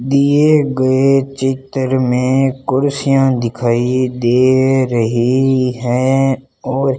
दिए गए चित्र में कुर्सियां दिखाइए दे रही है और --